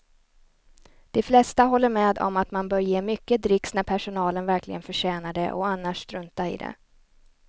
De flesta håller med om att man bör ge mycket dricks när personalen verkligen förtjänar det och annars strunta i det.